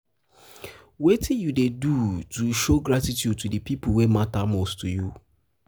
wetin you dey do to show gratitude to di people wey mata most for you?